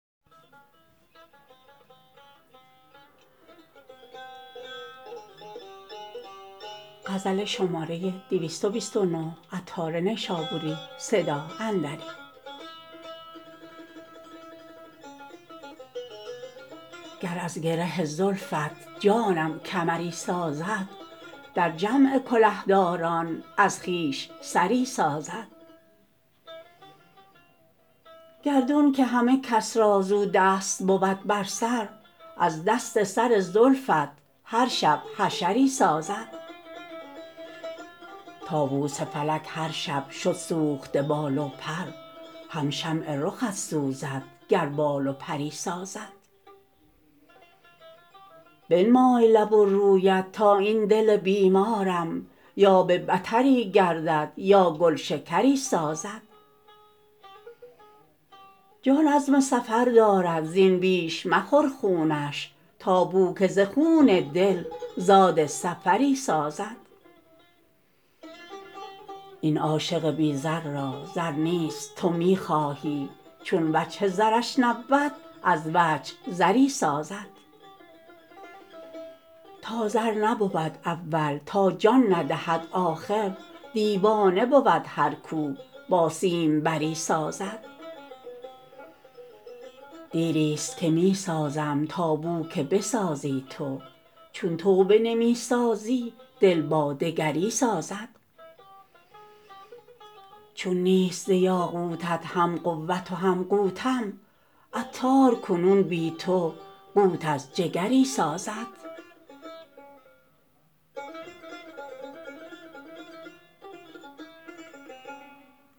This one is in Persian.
گر از گره زلفت جانم کمری سازد در جمع کله داران از خویش سری سازد گردون که همه کس را زو دست بود بر سر از دست سر زلفت هر شب حشری سازد طاوس فلک هر شب شد سوخته بال و پر هم شمع رخت سوزد گر بال و پری سازد بنمای لب و رویت تا این دل بیمارم یا به بتری گردد یا گلشکری سازد جان عزم سفر دارد زین بیش مخور خونش تا بو که ز خون دل زاد سفری سازد این عاشق بی زر را زر نیست تو می خواهی چون وجه زرش نبود از وجه زری سازد تا زر نبود اول تا جان ندهد آخر دیوانه بود هر کو با سیم بری سازد دیری است که می سازم تا بو که بسازی تو چون تو بنمی سازی دل با دگری سازد چون نیست ز یاقوتت هم قوت و هم قوتم عطار کنون بی تو قوت از جگری سازد